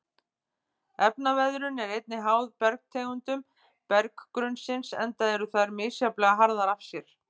Efnaveðrun er einnig háð bergtegundum berggrunnsins enda eru þær misjafnlega harðar af sér.